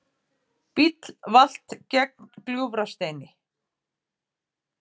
Bíll valt gegnt Gljúfrasteini